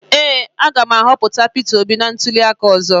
Ee, a ga m ahọpụta peter obi na ntuli aka ọzọ.